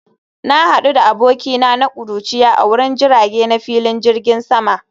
Na hadu da abokina na kuruciya a wurin jirage na filin jirgin sama